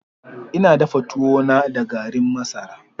Ina dafa tuwo na da garin masara.